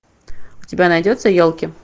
у тебя найдется елки